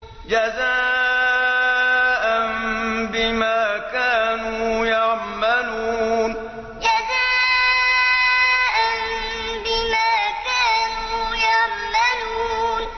جَزَاءً بِمَا كَانُوا يَعْمَلُونَ جَزَاءً بِمَا كَانُوا يَعْمَلُونَ